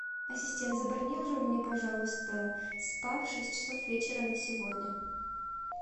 ассистент забронируй мне пожалуйста спа в шесть часов вечера на сегодня